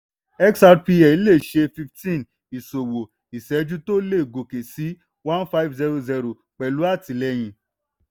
xrpl le ṣe fifteen ìṣòwò/ìṣẹ́jú tó lè gòkè sí one five zero zero pẹ̀lú àtìlẹ́yìn.